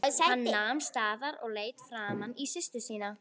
Hann nam staðar og leit framan í systur sína.